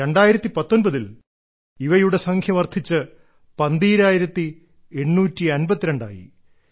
2019 ൽ ഇവയുടെ സംഖ്യ വർദ്ധിച്ച് 12852 ആയി